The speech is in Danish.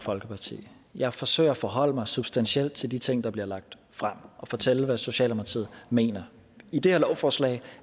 folkeparti jeg forsøger at forholde mig substantielt til de ting der bliver lagt frem og fortælle hvad socialdemokratiet mener i det her lovforslag